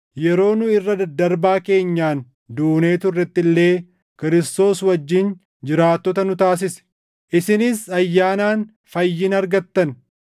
yeroo nu irra daddarbaa keenyaan duunee turretti illee Kiristoos wajjin jiraattota nu taasise; isinis ayyaanaan fayyina argattan.